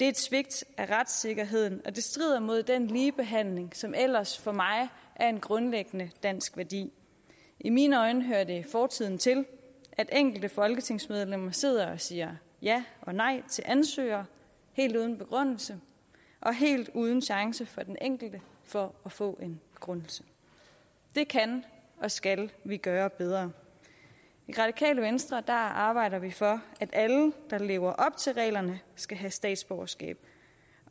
et svigt af retssikkerheden og det strider mod den ligebehandling som ellers for mig er en grundlæggende dansk værdi i mine øjne hører det fortiden til at enkelte folketingsmedlemmer sidder og siger ja og nej til ansøgere helt uden begrundelse og helt uden chance for den enkelte for at få en begrundelse det kan og skal vi gøre bedre i radikale venstre arbejder vi for at alle der lever op til reglerne skal have statsborgerskab